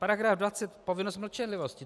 Paragraf 20, povinnost mlčenlivosti.